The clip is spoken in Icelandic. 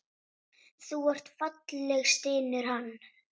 Þú ert falleg, stynur hann.